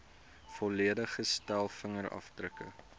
volledige stel vingerafdrukke